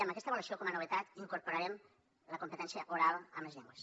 en aquesta avaluació com a novetat incorporarem la competència oral en les llengües